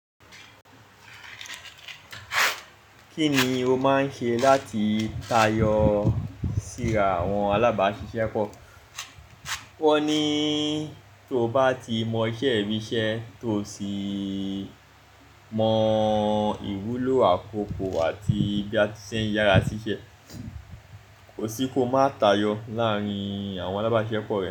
Kí ni o máa ń ṣe láti tayọ síra àwọn alábáṣiṣẹ́pọ̀? Wọ́n ní tó bá ti mọ iṣẹ́ bí iṣẹ́ tó sì mọ ìwúlò àkoko àti bí a ti ṣe ń yára sí iṣẹ́, kò sí kó máa tayọ láàárín àwọn alábáṣiṣẹ́pọ̀ rẹ.